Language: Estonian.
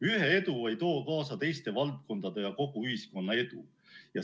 Ühe edu ei too kaasa teiste valdkondade ja kogu ühiskonna edu.